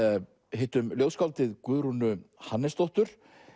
hittum ljóðskáldið Guðrúnu Hannesdóttur